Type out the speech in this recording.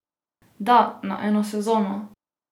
Da, na eno sezono!